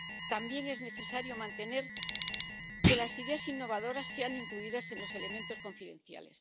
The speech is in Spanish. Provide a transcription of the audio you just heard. También es necesario mantener que las ideas innovadoras sean incluidas en los elementos confidenciales.